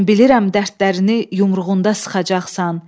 Mən bilirəm dərdlərini yumruğunda sıxacaqsan.